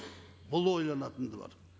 бұл ойланатыны бар